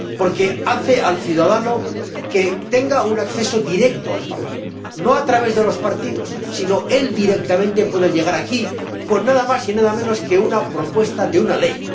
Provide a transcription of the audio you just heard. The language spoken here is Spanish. Porque hace que el ciudadano tenga un acceso directo al Parlamento, no a través de los partidos, sino que él, directamente, puede llegar aquí con nada más y nada menos que una propuesta de una ley.